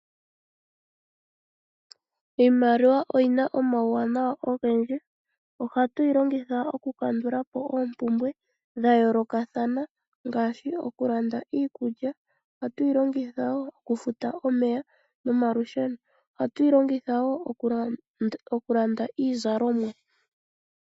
Iimaliwa oyina omauwanawa ogendji, ohatu yi longitha oku kandulapo oompumbwe dha yoolokathana ngashi oku landa iikulya, oha tuyi longitha wo oku futa omeya nomalusheno, ohatu yi longitha wo oku landa iizalomwa.